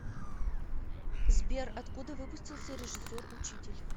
сбер откуда выпустился режиссер учитель